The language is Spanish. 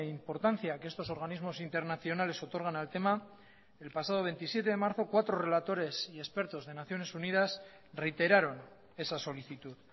importancia que estos organismos internacionales otorgan al tema el pasado veintisiete de marzo cuatro relatores y expertos de naciones unidas reiteraron esa solicitud